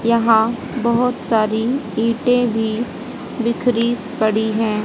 यहां बहुत सारी इटें भी बिखरी पड़ी हैं।